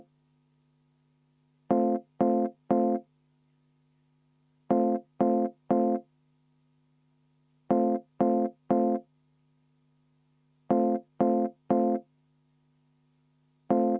Juhataja vaheaeg 30 minutit.